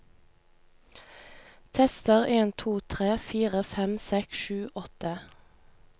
Tester en to tre fire fem seks sju åtte